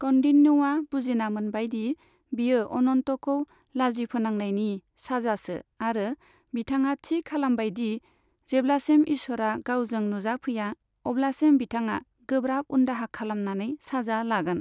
कौन्डिन्यआ बुजिना मोनबाय दि बियो अनन्तखौ लाजि फोनांनायनि साजासो आरो बिथाङा थि खालामबाय दि जेब्लासिम ईसोरा गावजों नुजाफैया अब्लासिम बिथाङा गोब्राब उनदाहा खालामनानै साजा लागोन।